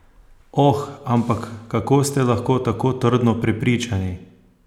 Oh, ampak kako ste lahko tako trdno prepričani?